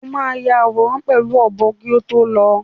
O máa ya àwòrán pẹ̀lú ọ̀bọ kí o tó lọ.